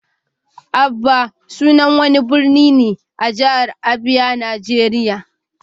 Aba sunan wani birni ne a jihar Abia, Najeriya.